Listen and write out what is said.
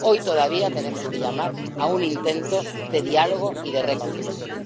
Hoy todavía tenemos que llamar a un intento de diálogo y de reconciliación.